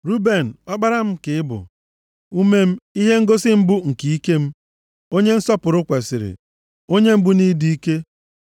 “Ruben, ọkpara m ka ị bụ, ume m, ihe ngosi mbụ nke ike m, onye nsọpụrụ kwesiri, onye mbụ nʼịdị ike.